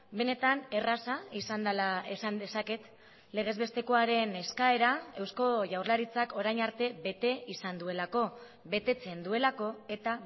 benetan erraza izan dela esan dezaket legezbestekoaren eskaera eusko jaurlaritzak orain arte bete izan duelako betetzen duelako eta